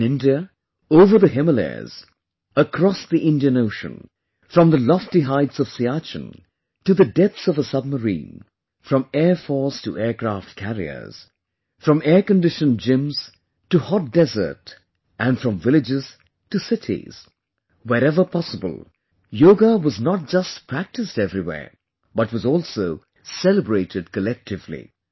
In India, over the Himalayas, across the Indian Ocean, from the lofty heights of Siachen to the depths of a Submarine, from airforce to aircraft carriers, from airconditioned gyms to hot desert and from villages to cities wherever possible, yoga was not just practiced everywhere, but was also celebrated collectively